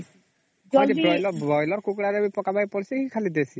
ବରଏଲର କୁକୁଡ଼ା କେ ବି ପକା ବେଶୀ ପଡ଼ିଛେ କି ଖାଲି ଦେଶୀ